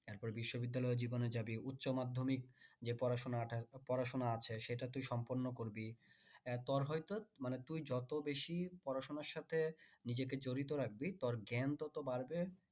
তারপর বিশ্ব বিদ্যালয় জীবনে যাবি উচ্চ মাধ্যমিক যে পড়াশোনাটা পড়াশোনা আছে সেটা তুই সম্পূর্ণ করবি এ তোর হয়তো মানে তুই যত বেশি পড়াশোনার সাথে নিজেকে জড়িত রাখবি তোর জ্ঞান তত বাড়বে